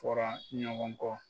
Fɔra ɲɔgɔn kɔ